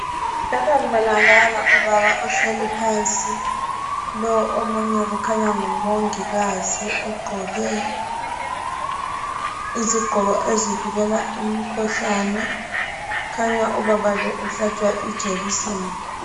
Lapha kubonakala ubaba ohleli phansi lo omunye kukhanya ngumongikazi ogqoke izigqoko ezivikela imikhuhlane. Kukhanya ubaba lo uhlatshwa ijekiseni.